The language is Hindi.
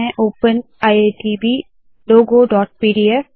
open IITB logoपीडीएफ